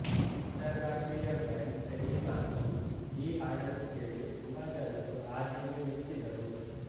ಅಂತರಾಷ್ಟ್ರೀಯ brand Remy Martin ಈ ಹಾಡನ್ನು ಕೇಳಿ ತುಂಬಾ ಜನರು ಆಧಿಗೆ ಮೆಚ್ಚಿದರು